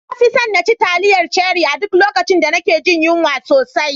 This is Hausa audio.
Na fi son naci taliyar Cherie a duk lokacin da nake jin yunwa sosai.